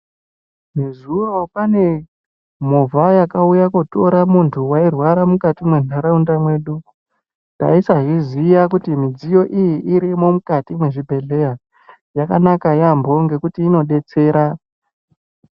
Nezuro pane movha yakauya kootore muntu wairwara mukati mwenharaunda yedu, taisazviziya kuti midziyo iyi irimwo mukati mwezvibhehleya yakanaka yaamho ngekuti inodetsera.